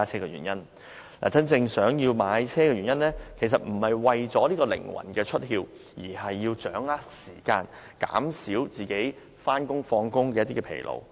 買車的真正原因，其實不是為了靈魂出竅，而是要掌握時間，減少上下班的疲勞。